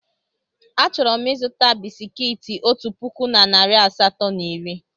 Achọrọ m ịzụta bisikiiti otu puku na narị asatọ na iri.